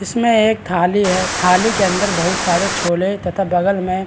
इसमें एक थाली है। थाली के अंदर बहुत सारे छोले तथा बगल में --